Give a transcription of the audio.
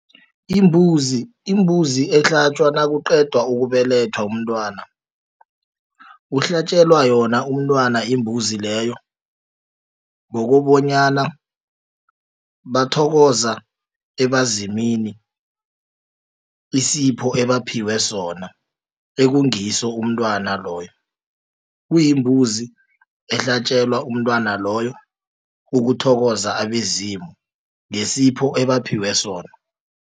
Imbuzi. Imbuzi ehlatjwa nakuqedwa ukubelethwa umntwana kuhlatjelwa yona umntwana imbuzi leyo ngokobanyana bathokoza ebazimini isipho ebaphiwe sona ekungiso umntwana loyo kuyimbuzi ehlatjelwa umntwana loyo ukuthokoza abezimu ngesiphetho ebaphiwe sona.